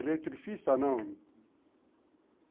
Eletricista, não.